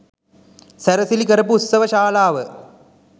සැරසිලි කරපු උත්සවශාලාව